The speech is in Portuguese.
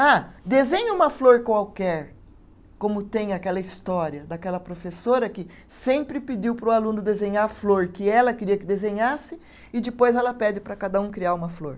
Ah, desenhe uma flor qualquer, como tem aquela história daquela professora que sempre pediu para o aluno desenhar a flor que ela queria que desenhasse e depois ela pede para cada um criar uma flor.